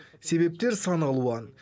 себептер сан алуан